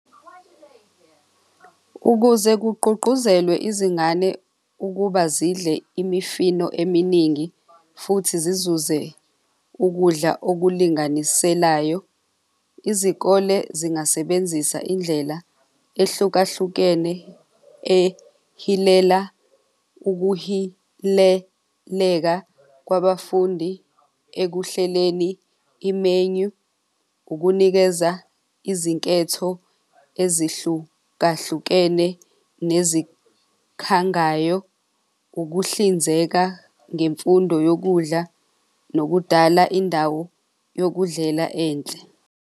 Ukuze kugqugquzelwe izingane ukuba zidle imifino eminingi, futhi zizuze ukudla okulinganiselayo. Izikole zingasebenzisa indlela ehlukahlukene ehilela ukuhileleka kwabafundi ekuhleleni imenu ukunikeza izinketho ezihlukahlukene nezikhangayo, ukuhlinzeka ngemfundo yokudla nokudala indawo yokudlela enhle.